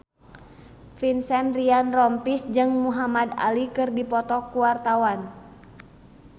Vincent Ryan Rompies jeung Muhamad Ali keur dipoto ku wartawan